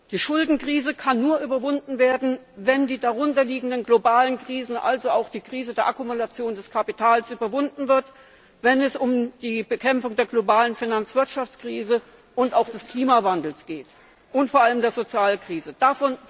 Die Schuldenkrise kann nur überwunden werden, wenn die darunter liegenden globalen Krisen, also auch die Krise der Akkumulation des Kapitals, überwunden werden, wenn es um die Bekämpfung der globalen Finanzwirtschaftskrise und auch des Klimawandels und vor allem der Sozialkrise geht.